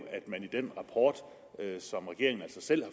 at den rapport som regeringen altså selv